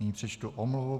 Nyní přečtu omluvu.